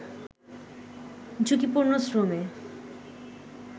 ঝুঁকিপূর্ণ শ্রমে